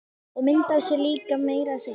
Og mynd af sér líka meira að segja.